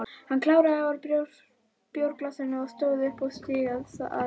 Hann kláraði úr bjórglasinu, stóð upp og stikaði að barnum.